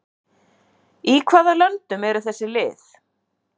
Í hvaða löndum eru þessi lið?